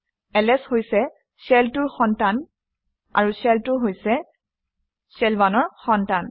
LS হৈছে cell 2 ৰ সন্তান আৰু শেল 2 হৈছে শেল 1 ৰ সন্তান